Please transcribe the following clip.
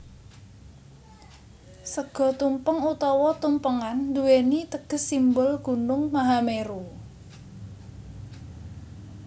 Sega tumpeng utawa tumpengan nduwèni teges simbol gunung Mahameru